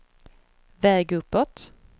väg uppåt